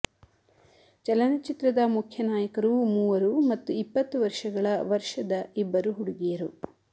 ಚಲನಚಿತ್ರದ ಮುಖ್ಯ ನಾಯಕರು ಮೂವರು ಮತ್ತು ಇಪ್ಪತ್ತು ವರ್ಷಗಳ ವರ್ಷದ ಇಬ್ಬರು ಹುಡುಗಿಯರು